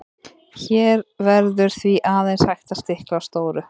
hér verður því aðeins hægt að stikla á stóru